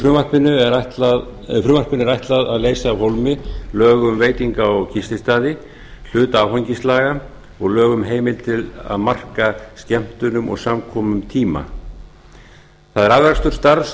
frumvarpinu er ætlað að leysa af hólmi lög um veitinga og gististaði hluta áfengislaga og lög um heimild til að marka skemmtunum og samkomum tíma það er afraksturstarf